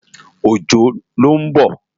Ojo ló n bò